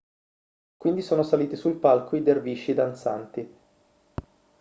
quindi sono saliti sul palco i dervisci danzanti